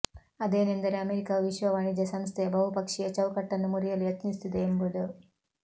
ಅದೇನೆಂದರೆ ಅಮೆರಿಕವು ವಿಶ್ವ ವಾಣಿಜ್ಯ ಸಂಸ್ಥೆಯ ಬಹುಪಕ್ಷೀಯ ಚೌಕಟ್ಟನ್ನು ಮುರಿಯಲು ಯತ್ನಿಸುತ್ತಿದೆ ಎಂಬುದು